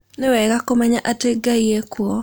Nĩ wega kũmenya atĩ Ngai e kuo.